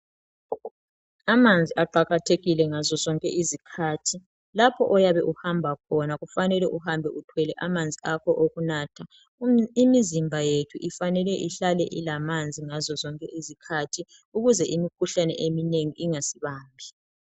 Amanzi aqakathekile ngazo zonke izikhathi lapho oyabe uhamba khona kufanele uhambe uthwele amanzi akho okunatha imizimba yethu ifanele ihlale ilamanzi ngazo zonke izikhathi ukuze imikhuhlane eminengi ingasibambi.